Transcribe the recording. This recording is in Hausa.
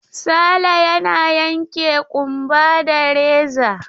Sale yana yanke ƙumba da reza.